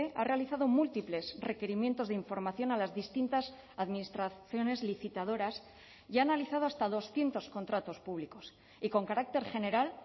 ha realizado múltiples requerimientos de información a las distintas administraciones licitadoras y ha analizado hasta doscientos contratos públicos y con carácter general